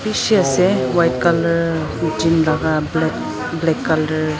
bishi ase white colour black colour .